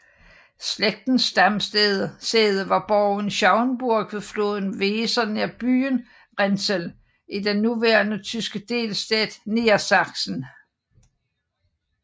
Slægtens stamsæde var borgen Schauenburg ved floden Weser nær byen Rinteln i den nuværende tyske delstat Niedersachsen